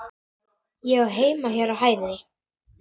Ég á heima hér á hæðinni.